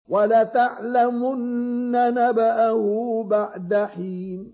وَلَتَعْلَمُنَّ نَبَأَهُ بَعْدَ حِينٍ